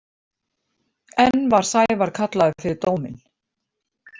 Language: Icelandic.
Enn var Sævar kallaður fyrir dóminn.